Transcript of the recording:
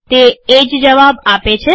તે એ જ જવાબ આપે છે